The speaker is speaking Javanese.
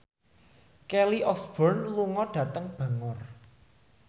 Kelly Osbourne lunga dhateng Bangor